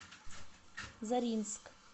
заринск